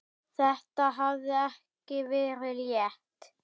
Þetta hafði ekki verið létt.